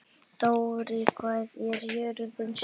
Dóri, hvað er jörðin stór?